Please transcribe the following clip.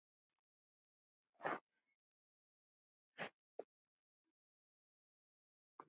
Getur þessi sjoppa flogið?